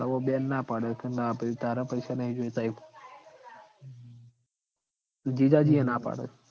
અવ બેન ના પાડ સ ના ભઈ તારા પૈસા નઈ જોઈતા ઈમ જીજાજી એ ના પાડ સ